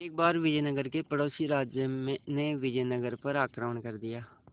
एक बार विजयनगर के पड़ोसी राज्य ने विजयनगर पर आक्रमण कर दिया